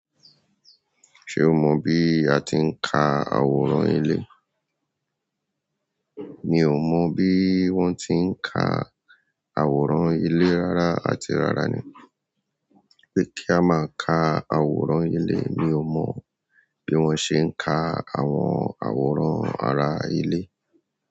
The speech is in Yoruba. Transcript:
Ṣé o mo bí a ti ń ká àwòrán ilé. Mi ò mọ bí wọ́n ti ń ká àwòrán ilé rárá, àti rárá ni pé kí a má ká àwòrán ilé, mi ò mọ bí wọ́n ṣe ń kà àwọn àwòrán àrà ilé.